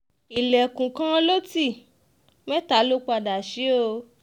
um ilẹ̀kùn kan ló ti mẹ́ta lọ padà sí o